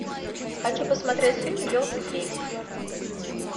хочу посмотреть фильм елки три